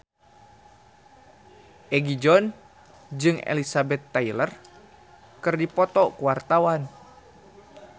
Egi John jeung Elizabeth Taylor keur dipoto ku wartawan